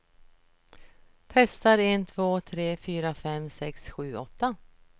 Testar en två tre fyra fem sex sju åtta.